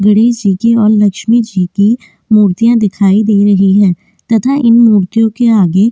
गणेश जी की और लक्ष्मी जी की मूर्तियां दिखाई दे रही है तथा इन मोतियों के आगे --